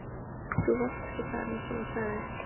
Þú varst ekki þar einsog hún sagði.